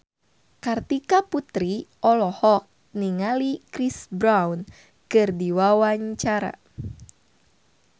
Kartika Putri olohok ningali Chris Brown keur diwawancara